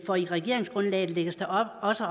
for i regeringsgrundlaget lægges der også